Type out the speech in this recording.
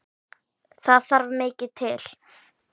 Þar þarf mikið til.